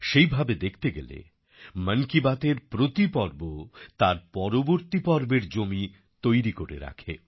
সেভাবে দেখতে গেলে মন কি বাতএর প্রতি পর্ব তার পরবর্তী পর্বের জমি তৈরি করে রাখে